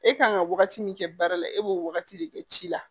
E kan ka wagati min kɛ baara la e b'o wagati de kɛ ci la